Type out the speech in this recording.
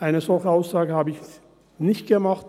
Eine solche Aussage habe ich nicht gemacht;